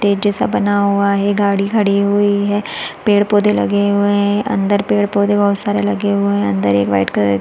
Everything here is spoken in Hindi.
स्टेज जैसा बना हुआ है गाड़ी खड़ी हुई है पेड़ पौघे लगे हुए है अंदर पेड़ पौधे बहुत सारे लगे हुए है अंदर एक वाइट कलर --